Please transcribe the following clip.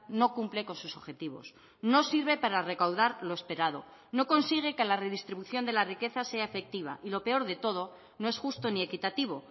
no cumple con sus objetivos no sirve para recaudar lo esperado no consigue que la redistribución de la riqueza sea efectiva y lo peor de todo no es justo ni equitativo